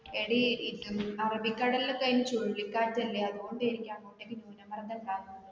എടി ഏർ അറബി ക്കടലിൽ ഒക്കെ അയിന് ചുഴലിക്കാറ്റ് അല്ലെ അതുകൊണ്ട് ആയിരിക്കാം അവിടെ ന്യൂനമർദം ഉണ്ടാകുന്നത്.